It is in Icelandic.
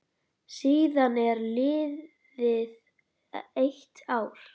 Síðan er liðið eitt ár.